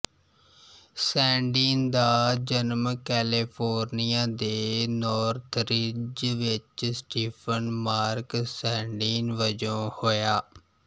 ਸੈਂਡੀਨ ਦਾ ਜਨਮ ਕੈਲੀਫੋਰਨੀਆ ਦੇ ਨੌਰਥਰਿੱਜ ਵਿੱਚ ਸਟੀਫ਼ਨ ਮਾਰਕ ਸੈਂਡੀਨ ਵਜੋਂ ਹੋਇਆ